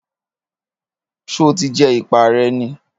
Ṣé o ti jẹ ìpá rẹ ni?